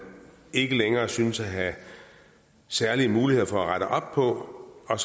ikke længere synes at have særlige muligheder for at rette op på og